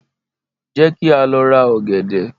Jẹ́ kí á lọ ra ọ̀gẹ̀dẹ̀.